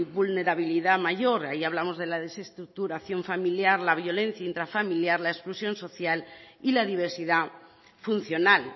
vulnerabilidad mayor ahí hablamos de la desestructuración familiar la violencia intrafamiliar la exclusión social y la diversidad funcional